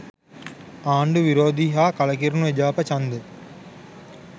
ආණ්ඩු විරෝධී හා කලකිරුණු එජාප ඡන්ද